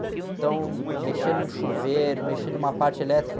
Então, eh, mexer num chuveiro, mexer numa parte elétrica.